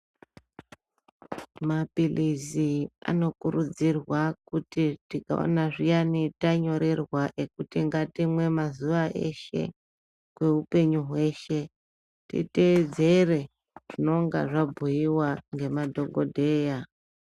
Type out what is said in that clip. Mapilizi anokurudzirwa kuti tikaona zviyani tanyorerwa ekuti ngatimwe mazuwa eshe kweupenyu hweshe titeedzere zvinonga zvabhuyiwa ngemadhokodheya.